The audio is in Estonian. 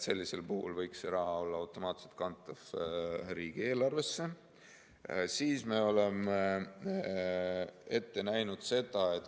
Sellisel juhul võiks see raha olla automaatselt kantav riigieelarvesse.